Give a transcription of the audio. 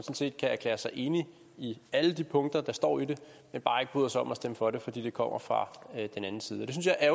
set kan erklære sig enig i alle de punkter der står i det men bare ikke bryder sig om at stemme for det fordi det kommer fra den anden side af